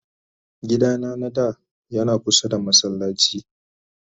gida na na da Yana kusa da masallaci.